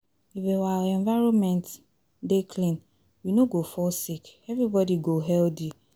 If our environment environment dey clean, we no go fall sick, everybody go healthy